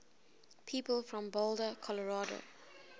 people from boulder colorado